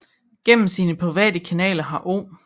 Gennem sine private kanaler har O